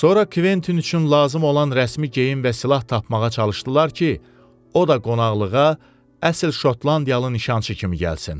Sonra Kventin üçün lazım olan rəsmi geyim və silah tapmağa çalışdılar ki, o da qonaqlığa əsl Şotlandiyalı nişançı kimi gəlsin.